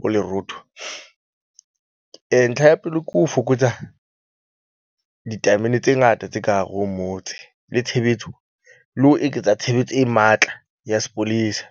bo lerootho. Ntlha ya pele ke ho fokotsa ditamene tse ngata tse ka hare ho motse le tshebetso, le ho eketsa tshebetso e matla ya sepolesa.